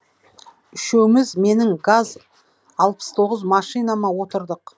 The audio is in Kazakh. үшеуіміз менің газ алпыс тоғыз машинама отырдық